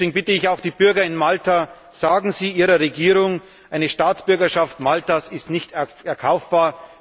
Deswegen bitte ich auch die Bürger in Malta Sagen Sie Ihrer Regierung Eine Staatsbürgerschaft Maltas ist nicht erkaufbar.